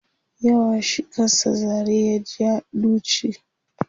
yawa shi kan sa zare ya ja duchi